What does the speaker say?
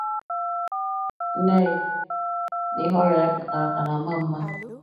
Neil na ihe ọrịa ya kpatara ka na - agba mgba.